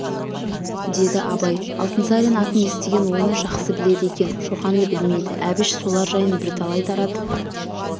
деді абай алтынсарин атын естіген оны жақсы біледі екен шоқанды білмейді әбіш солар жайын бірталай таратып